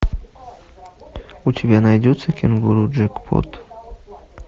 у тебя найдется кенгуру джекпот